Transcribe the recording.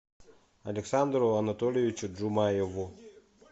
александру анатольевичу джумаеву